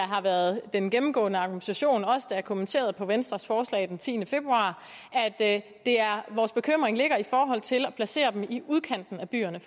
har været den gennemgående argumentation også da jeg kommenterede venstres forslag den tiende februar at vores bekymring ligger i forhold til at placere dem i udkanten af byerne